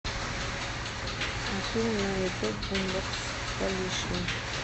афина на ютуб бумбокс колишня